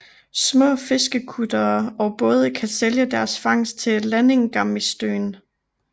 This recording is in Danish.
Små fiskekuttere og både kan sælge deres fangst til Landingarmistøðin